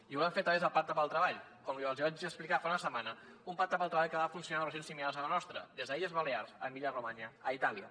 i ho volem fer a través del pacte pel treball com els vaig explicar fa una setmana un pacte pel treball que ha funcionat en regions similars a la nostra des d’illes balears a emília romanya a itàlia